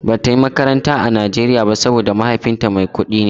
Bata yi makaranta a Nigeria ba saboda mahaifinta mai kudi ne.